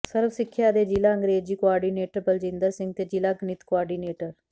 ਸਰਵ ਸਿੱਖਿਆ ਦੇ ਜ਼ਿਲ੍ਹਾ ਅੰਗਰੇਜ਼ੀ ਕੋਆਰਡੀਨੇਟਰ ਬਲਜਿੰਦਰ ਸਿੰਘ ਤੇ ਜ਼ਿਲ੍ਹਾ ਗਣਿਤ ਕੋਆਰਡੀਨੇਟਰ